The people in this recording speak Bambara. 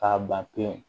K'a ban pewu